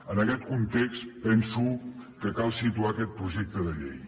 en aquest context penso que cal situar aquest projecte de llei